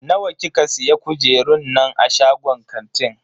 Nawa kika siya kujerun nan a shagon kantin?